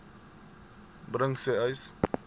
bring sê uys